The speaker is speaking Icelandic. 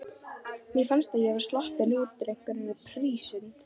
Mér fannst ég vera sloppin úr einhverri prísund.